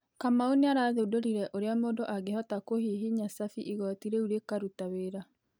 Kamau nĩarathũndorĩre ũrĩa mundũ angĩhota kũhĩhĩnya cabĩ ĩgotĩ rĩũ rĩkarũta wĩra